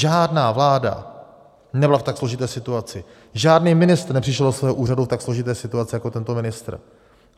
Žádná vláda nebyla v tak složité situaci, žádný ministr nepřišel do svého úřadu v tak složité situaci jako tento ministr.